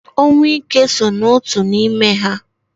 Ọnwụ ike so n'otu n'ime ha